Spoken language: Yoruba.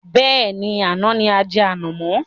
Bẹ́ẹ̀ni, àná ni ajẹ ànàmọ̀.